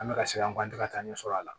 An bɛ ka se an ban tɛ ka taa ɲɛ sɔrɔ a la